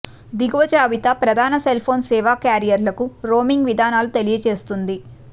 దిగువ జాబితా ప్రధాన సెల్ ఫోన్ సేవ క్యారియర్లకు రోమింగ్ విధానాలను తెలియజేస్తుంది